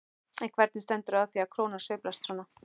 En hvernig stendur á því að krónan sveiflast svona?